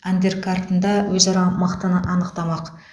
андеркартында өзара мықтыны анықтамақ